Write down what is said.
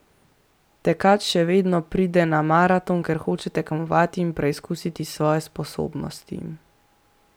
Tekač še vedno pride na maraton, ker hoče tekmovati in preizkusiti svoje sposobnosti.